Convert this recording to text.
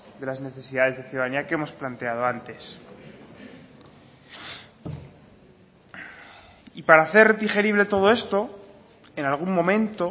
de las necesidades de ciudadanía que hemos planteado antes y para hacer digerible todo esto en algún momento